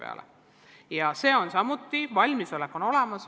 Selleks on samuti valmisolek olemas.